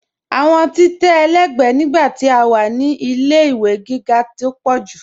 Awọn títẹ̀ ẹlẹgbẹ̀ nígbà tí a wá ní ilẹ̀-ìwé gígá tó pọ̀ jù.